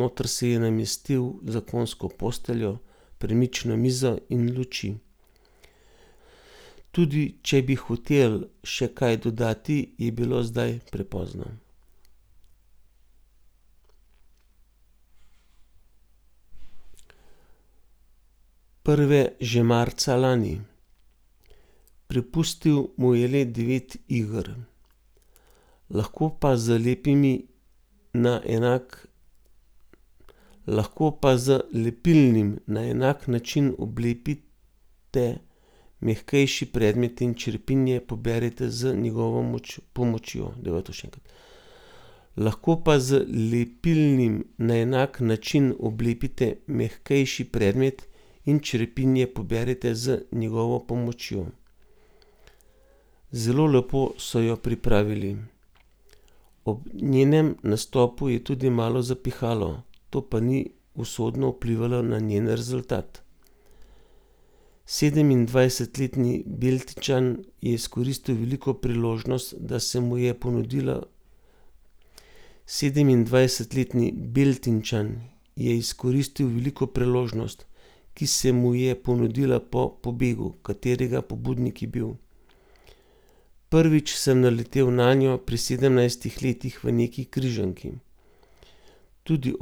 Sedemindvajsetletni Beltinčan je izkoristil veliko priložnost, ki se mu je ponudila po pobegu, katerega pobudnik je